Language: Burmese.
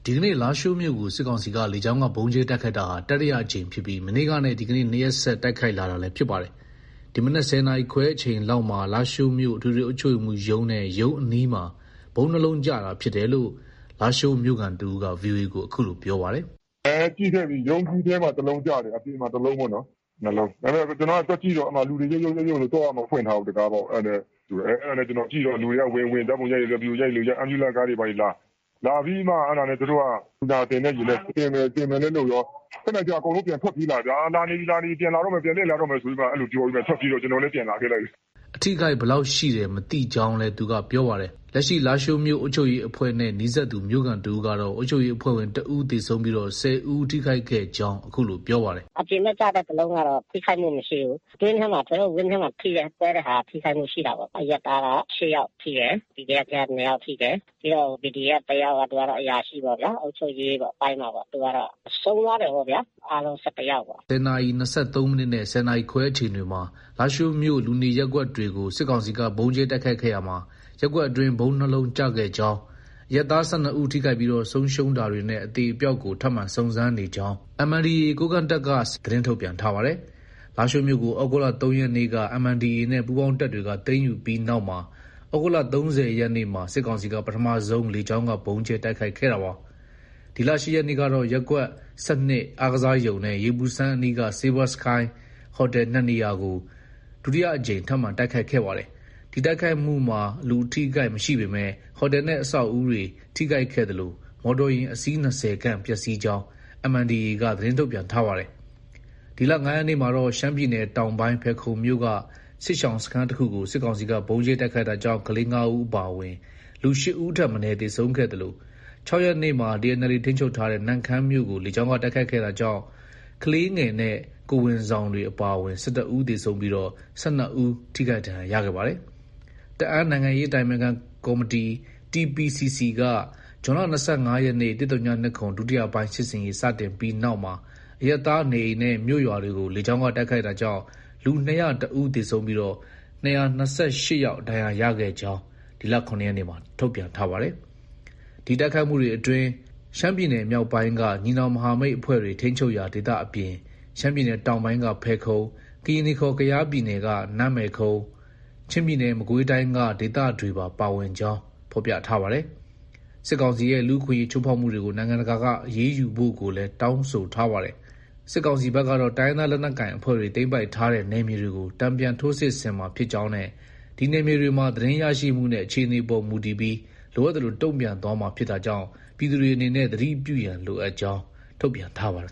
ဒီကနေ့ လားရှိုးမြို့ကို စစ်ကောင်စီက လေကြောင်းက ဗုံးကြဲတိုက်ခိုက်တာဟာ တတိယအကြိမ်ဖြစ်ပြီး မနေ့ကနဲ့ ဒီကနေ့ ၂ရက်ဆက် တိုက်ခိုက်လာတာလည်း ဖြစ်ပါတယ်။ ဒီမနက် ၁၀နာရီ ခွဲအချိန်လောက်မှာ လားရှိုးမြို့ အထွေထွေအုပ်ချုပ်ရေးမှုးရုံးနဲ့ ရုံးအနီးမှာ ဗုံး ၂ လုံးကျတာ ဖြစ်တယ်လို့ လားရှိုးမြို့ခံတဦးက VOA ကို အခုလို ပြောပါတယ်။ “အဲ ကြည့်ခဲ့ပြီ။ ရုံးကြီးထဲမှာ တလုံးကျတယ်။ အပြင်မှာ တလုံးပေါ့နော်။ ၂လုံး။ ကျနော်သွားကြည့်တော့ လူတွေက ရုတ်ရုတ် ရုတ်ရုတ်နဲ့ သော့က မဖွင့်ထားဘူး။ တံခါးပေါက်။ အဲဒါနဲ့ ကျနော်ကြည့်တော့ လူတွေက ဝင် ဝင် ဓါတ်ပုံရိုက်တဲ့သူက ရိုက် ဗီဒီယိုရိုက်တဲ့သူက ရိုက် Ambulance ကားတွေဘာတွေလာ။ လာပြီးမှ လူနာတင်တဲ့ယာဉ်နဲ့ တင်မယ်လည်း လုပ်ရော ခနနေကျ အကုန်လုံး ပြန်ထွက်ပြေးလာတယ်ဗျာ။ လာနေပြီ လာနေပြီ ပြန်လာတော့မယ် ပြန်လှည့်လာနေပြီဆိုပြီးမှ အဲလိုပြောပြီး ထွက်ပြေးတော့ ကျနော်လည်း ပြန်လာခဲ့လိုက်တယ်။” အထိအခိုက်ဘယ်လောက်ရှိတယ်မသိကြောင်းလည်း သူက ပြောပါတယ်။ လက်ရှိ လားရှိုးမြို့အုပ်ချုပ်ရေးအဖွဲ့နဲ့ နီးစပ်သူ မြို့ခံ တဦးကတော့ အုပ်ချုပ်ရေးအဖွဲ့ဝင် တဦး သေဆုံးပြီး ၁၀ဦး ထိခိုက်ခဲ့ကြောင်း အခုလို ပြောပါတယ်။ “အပြင်ဘက်ကျတဲ့ တလုံးကတော့ ထိခိုက်မှုမရှိဘူး။ အတွင်းထဲမှာ ထွေအုပ်ဝန်းထဲမှာ ကွဲတဲ့ဟာက ထိခိုက်မှုရှိတာပေါ့။ အရပ်သားက ၈ယောက်ထိတယ်။ PDF ထဲက ၂ယောက် ထိတယ်။ ပြီးတော့ PDF တယောက်က သူကတော့ အုပ်ချုပ်ရေးပိုင်းမှာပေါ့။ သူကတော့ ဆုံးသွားတယ်ပေါ့ဗျာ။ အားလုံး ၁၁ယောက်ပေါ့။” MNDAA ကိုးကန့်တပ်က ၁၀နာရီ ၂၃မိနစ်နဲ့ ၁၀နာရီခွဲ အချိန်တွေမှာ လားရှိုးမြို့ လူနေရပ်ကွက်တွေကို စစ်ကောင်စီက ဗုံးကြဲတိုက်ခိုက်ခဲ့ရာမှာ ရပ်ကွက် အတွင်း ဗုံး၂လုံးကျခဲ့ကြောင်း ၊ အရပ်သား ၁၂ဦး ထိခိုက်ပြီး ဆုံးရှုံးတာတွေနဲ့ အသေအပျောက်ကို ထပ်မံ စုံစမ်းနေကြောင်း သတင်းထုတ်ပြန်ထားပါတယ်။ လားရှိုးမြို့ကို သြဂုတ်လ ၃ရက်နေ့က MNDAA နဲ့ ပူးပေါင်းတပ်တွေက သိမ်းယူပြီးနောက်မှာ သြဂုတ်လ ၃၀ရက်နေ့မှာ စစ်ကောင်စီက ပထမဆုံးလေကြောင်းက ဗုံးကြဲတိုက်ခိုက်ခဲ့တာပါ။ ဒီလ ၈ ရက်နေ့ကတော့ ရပ်ကွက် ၁၂ အားကစားရုံနဲ့ ရေပူစမ်းအနီးက Silver Sky ဟိုတယ် ၂ နေရာကို ဒုတိယအကြိမ်ထပ်မံ တိုက်ခိုက်ခဲ့ပါတယ်။ ဒီတိုက်ခိုက်မှုမှာ လူအထိအခိုက်မရှိပေမဲ့ ဟိုတယ်နဲ့ အဆောက်အဦတွေ ထိခိုက်ခဲ့သလို မော်တော်ယာဉ် အစီး ၂၀ခန့်ပျက်ဆီးကြောင်း MNDAA က သတင်းထုတ်ပြန်ထားပါတယ်။ ဒီလ ၅ ရက်နေ့မှာတော့ ရှမ်းပြည်နယ်တောင်ပိုင်း ဖယ်ခုံမြို့က စစ်ရှောင်စခန်းတခုကို စစ်ကောင်စီက ဗုံးကြဲတိုက်ခိုက်တာကြောင့် ကလေး ၅ ဦးအပါအဝင် လူ ၈ ဦးထက်မနည်း သေဆုံးခဲ့သလို ၆ ရက်နေ့မှာ TNLA ထိန်းချုပ်ထားတဲ့ နမ့်ခမ်းမြို့ကို လေကြောင်းက တိုက်ခိုက်ခဲ့တာကြောင့် ကလေးငယ်နဲ့ ကိုယ်ဝန်ဆောင်တွေ အပါအဝင် ၁၁ ဦး သေဆုံးပြီး၊ ၁၂ ဦး ထိခိုက်ဒဏ်ရာရခဲ့ပါတယ်။ တအာင်းနိုင်ငံရေးအတိုင်ပင်ခံကော်မတီ TPCC က ဇွန်လ ၂၅ရက်နေ့ ၁၀၂၇ ဒုတိယပိုင်း စစ်ဆင်ရေး စတင်ပြီးနောက်ပိုင်းမှာ အရပ်သားနေအိမ်နဲ့ မြို့ရွာတွေကို လေကြောင်းက တိုက်ခိုက်တာကြောင့် လူ ၂၀၁ဦး သေဆုံးပြီး ၂၂၈ယောက် ဒဏ်ရာရခဲ့ကြောင်း ဒီလ ၇ရက်နေ့မှာ ထုတ်ပြန်ထားပါတယ်။ ဒီတိုက်ခိုက်မှုတွေအတွင်းမှာ ရှမ်းပြည်နယ်မြောက်ပိုင်းက ညီနောင်မဟာမိတ်အဖွဲ့တွေ ထိန်းချုပ်ရာဒေသအပြင် ရှမ်းပြည်နယ်တောင်ပိုင်းက ဖယ်ခုံ၊ ကရင်နီခေါ် ကယားပြည်နယ်က နန်းမယ်ခုံ၊ချင်းပြည်နယ်၊ မကွေးတိုင်းက ဒေသတွေပါ ပါဝင်ကြောင်း ဖော်ပြထားပါတယ်။ စစ်ကောင်စီရဲ့လူ့အခွင့်အရေးချိုးဖောက်မှုတွေကို နိုင်ငံတကာက အရေးယူဖို့ကိုလည်း တောင်းဆိုထားပါတယ်။ စစ်ကောင်စီဘက်ကတော့ တိုင်းရင်းသားလက်နက်ကိုင်အဖွဲ့တွေ သိမ်းပိုက်ထားတဲ့နယ်မြေတွေကို တန်ပြန်ထိုးစစ်ဆင်မှာဖြစ်ကြောင်းနဲ့ ဒီနယ်မြေတွေမှာ သတင်းရရှိမှုနဲ့အခြေအနေပေါ်မူတည်ပြီး လိုအပ်သလို တုံ့ပြန်သွားမှာဖြစ်တာကြောင့် ပြည်သူတွေအနေနဲ့ သတိပြုရန်လိုအပ်ကြောင်း ထုတ်ပြန်ထားပါတယ်